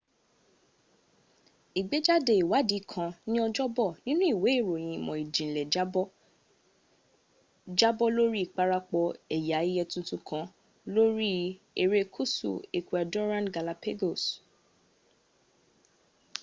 igbejade iwadi kan ni ojobo ninu iwe iroyin imo ijinle jabo lori iparapo eya eye tuntun kan lori erekusu ecuadorean galapagos